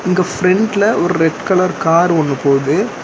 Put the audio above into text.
இங்க பிரெண்ட்ல ஒர் ரெட் கலர் கார் ஒன்னு போது.